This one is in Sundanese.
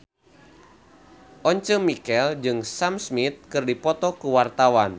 Once Mekel jeung Sam Smith keur dipoto ku wartawan